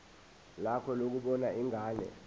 lakho lokubona ingane